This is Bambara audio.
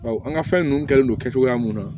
Bawo an ka fɛn ninnu kɛlen don kɛcogoya mun na